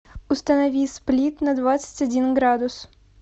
установи сплит на двадцать один градус